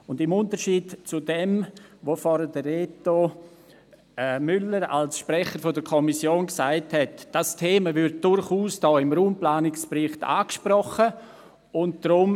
Im Unterschied zu dem, was Reto Müller vorhin als Sprecher der Kommission gesagt hat, muss ich Sie darauf hinweisen, dass dieses Thema hier im Raumplanungsbericht durchaus angesprochen wird.